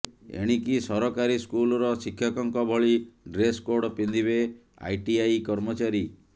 ଏଣିକି ସରକାରୀ ସ୍କୁଲର ଶିକ୍ଷକଙ୍କ ଭଳି ଡ୍ରେସକୋଡ ପିନ୍ଧିବେ ଆଇଟିଆଇ କର୍ମଚାରୀ